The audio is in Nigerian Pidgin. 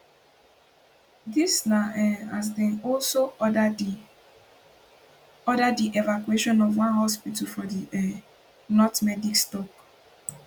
dis na um as dem also order di order di evacuation of one hospital for di um north medics tok